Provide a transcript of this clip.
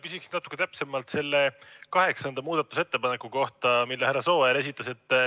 Küsiksin natuke täpsemalt selle kaheksanda muudatusettepaneku kohta, mille härra Sooäär esitas.